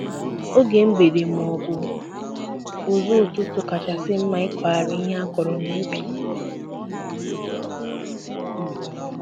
Oge mgbede ma ọbu ụzụ ụtụtụ kachasị mma ịkụghari ihe akọrọ n'ubi